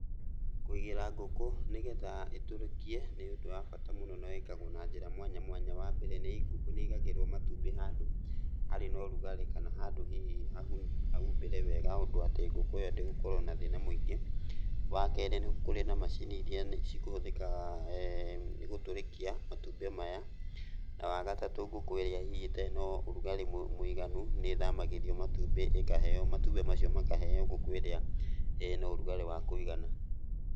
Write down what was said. Kũigĩra ngũkũ nĩgetha ĩtũrĩkie nĩ ũndũ wa bata mũno na wĩkagwo na njĩra mwanya mwanya. Wambere ngũkũ nĩĩigagĩrwo matumbĩ handũ harĩ na ũrugarĩ kana handũ hihi hahumbĩre wega ũndũ atĩ ngũkũ ĩyo ndĩgũkorwo na thĩna mũingĩ. Wakerĩ nĩ kũrĩ na macini iria cikũhũthĩka nĩ gũtũrĩkia matumbĩ maya. Na, wagatatũ ngũkũ ĩrĩa hihi nĩ ĩtarĩ na ũrugarĩ mũiganu nĩĩthamagĩrio matumbĩ ĩkaheo matumbĩ macio makaheo ngũkũ ĩrĩa ĩna ũrugarĩ wa kũigana.